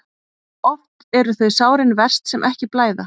Oft eru þau sárin verst sem ekki blæða.